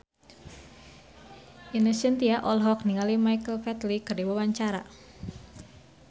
Ine Shintya olohok ningali Michael Flatley keur diwawancara